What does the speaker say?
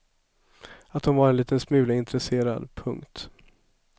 Att hon var en liten smula intresserad. punkt